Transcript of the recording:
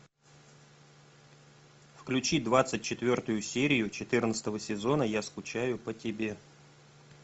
включи двадцать четвертую серию четырнадцатого сезона я скучаю по тебе